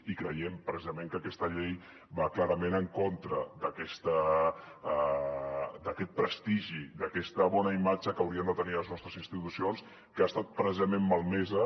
i creiem precisament que aquesta llei va clarament en contra d’aquest prestigi d’aquesta bona imatge que haurien de tenir les nostres institucions que ha estat precisament malmesa